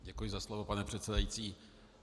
Děkuji za slovo, pane předsedající.